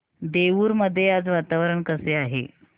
देऊर मध्ये आज वातावरण कसे आहे